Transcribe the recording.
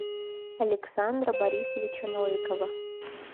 александра борисовича новикова